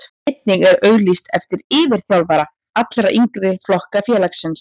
Einnig er auglýst eftir yfirþjálfara allra yngri flokka félagsins.